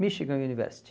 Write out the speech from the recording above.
Michigan University.